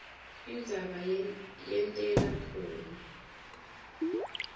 indzaba yenteka khona